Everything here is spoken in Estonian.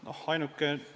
Aitäh küsimuse eest!